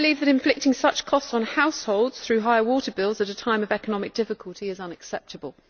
Inflicting such costs on households, through high water bills, at a time of economic difficulty is unacceptable.